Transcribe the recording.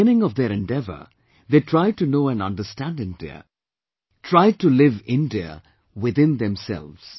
At the beginning of their endeavour, they tried to know and understand India; tried to live India within themselves